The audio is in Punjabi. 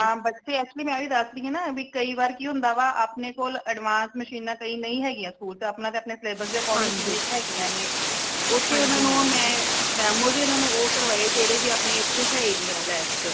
ਹਾਂ ਬੱਚੇ actually ਮੈਂ ਓਹੀ ਦਸ ਰਹੀ ਹਾਂ ਨਾ ਕਿ ਭੀ ਕਈ ਵਾਰੀ ਕਿ ਹੁੰਦਾ ਵਾ ਆਪਣੇ ਕੋਲ advance machine ਕਈ ਨਈ ਹੈਗੀਆਂ school ਤੇ ਅਪਣਾ ਤੇ ਅਪਣੇ syllabus ਦੇ according ਜਿਨੀ ਕੁ ਹੈਗੀਆਂ ਨੇ ਓਥੇ ਓਨਾ ਨੂ ਮੈਂ demo ਵੀ ਉਹ ਕਰਵਾਏ ਜੇੜੇ ਬੀ ਅਪਣੇ ਏਥੇ ਹੈ ਹੀ ਨਈ lab ਚ